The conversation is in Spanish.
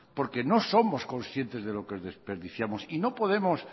porque no somos conscientes de lo que desperdiciamos y no podemos